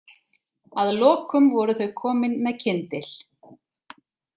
Að lokum voru þau komin með kyndil.